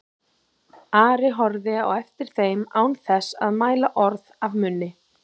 Ari horfði á eftir þeim án þess að mæla orð af munni.